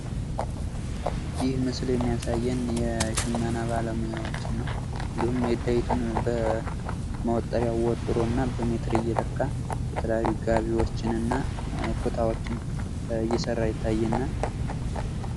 ይህ ምስል የሚያሳየን የሽመና ባለሙያዎችን ነው። እንዲሁም ሜዳይቱን በመወጠሪያው ወጥሮና በሜትር እየለካ የተለያዩ ጋቢዎችን እና ኩታዎችን እየሰራ ይታየናል።